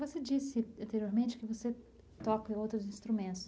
Você disse anteriormente que você toca em outros instrumentos.